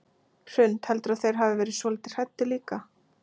Hrund: Heldurðu að þeir hafi verið svolítið hræddir líka?